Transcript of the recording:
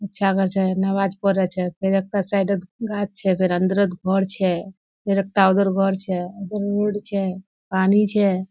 अच्छा कोर छे नमाज पोरे छे फेर एकटा साइडोत गाछ छे फेर अंदोरोत घोर छे फेर एकटा उधर घोर छे रोड छे पानी छे।